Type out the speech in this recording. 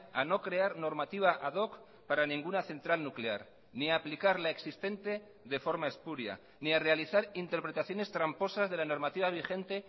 a no crear normativa ad hoc para ninguna central nuclear ni aplicar la existente de forma espuria ni a realizar interpretaciones tramposas de la normativa vigente